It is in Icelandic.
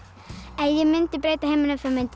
ef ég mundi breyta heiminum þá mundi